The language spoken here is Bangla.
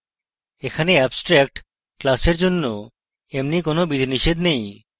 এখানে abstract class জন্য এমনি কোনো বিধিনিষেধ নেই